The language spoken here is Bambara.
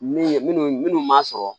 Min ye minnu m'a sɔrɔ